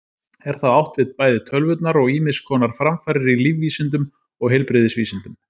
Er þá átt við bæði tölvurnar og ýmiss konar framfarir í lífvísindum og heilbrigðisvísindum.